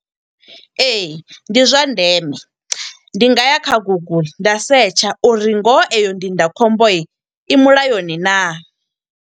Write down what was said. Ee, ndi zwa ndeme. Ndi nga ya kha Google, nda setsha uri ngoho eyo ndindakhombo i mulayoni naa.